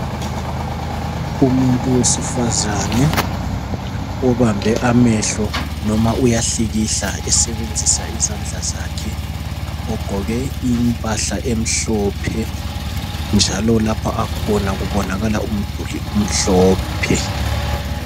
Umuntu wesifazane obambe amehlo noma uyahlikihla esebenzisa izandla zakhe ogqoke impahla emhlophe njalo lapho akhona kubonakala umduli umhlophe .